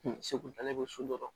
Segu taalen bɛ so dɔ la